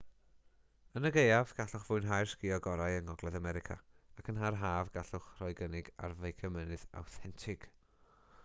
yn y gaeaf gallwch fwynhau'r sgïo gorau yng ngogledd america ac yn yr haf rhowch gynnig ar feicio mynydd awthentig